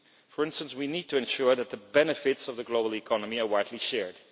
For instance, we need to ensure that the benefits of the global economy are widely shared.